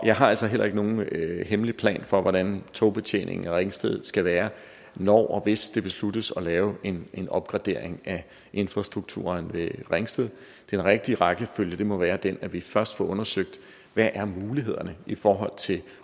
jeg har altså heller ikke nogen hemmelig plan for hvordan togbetjeningen i ringsted skal være når og hvis det besluttes at lave en en opgradering af infrastrukturen ved ringsted den rigtige rækkefølge må være den at vi først får undersøgt hvad mulighederne her i forhold til